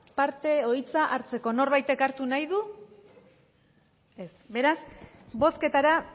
parte edo hitza hartzeko norbaitek hartu nahi du ez beraz bozketara